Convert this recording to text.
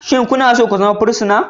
Shin kuna so ku zama fursuna?